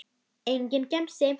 Enginn gemsi.